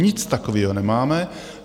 Nic takového nemáme.